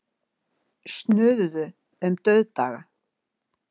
Snuðuð um dauðdaga.